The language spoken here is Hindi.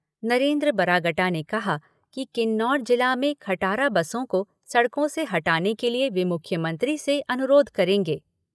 नरेन्द्र बरागटा ने कहा कि किन्नौर जिला में खटारा बसों को सड़कों से हटाने के लिए वे मुख्यमंत्री से अनुरोध करेंगे।